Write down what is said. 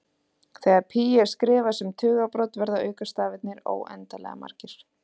Þegar pí er skrifað sem tugabrot verða aukastafirnir óendanlega margir.